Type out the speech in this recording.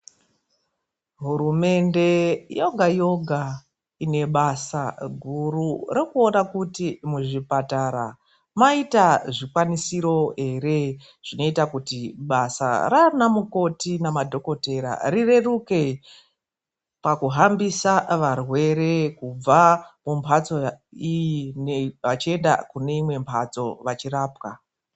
Hurumende yoga yoga inebasa guru rekuona kuti muzvipatara maita zvikwanisiro ere, zvinoita kuti basa raana mukoti namadhokotera rireruke pakuhambisa varwere, kubva mumhatso iyi vachienda kuneimwe mhatso vachirapwa.